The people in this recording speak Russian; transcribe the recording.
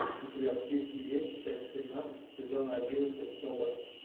у тебя в списке есть часть семнадцать сезона одиннадцать собр